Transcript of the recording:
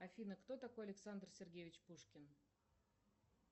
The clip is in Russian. афина кто такой александр сергеевич пушкин